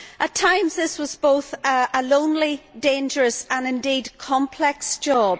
At times this was both a lonely, dangerous and indeed complex job.